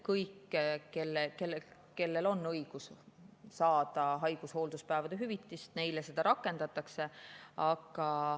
Kõigi suhtes, kellel on õigus saada haigus‑ ja hoolduspäevade hüvitist, seda rakendatakse.